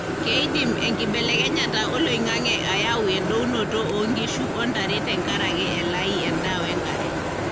keidim enkibelekenyata oloingange ayau endounoto o nkishu ontare tenkaraki elai endaa wenkare.